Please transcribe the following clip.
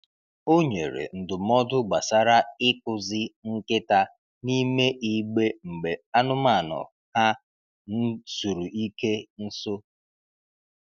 O nyere ndụmọdụ gbasara ịkụzi nkịta n’ime igbe mgbe anụmanụ ha n'zuru ike nso.